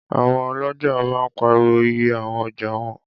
Àwọn ọlọ́ja máa ń pariwo iye àwọn ọjà wọn